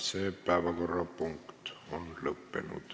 Selle päevakorrapunkti arutelu on lõppenud.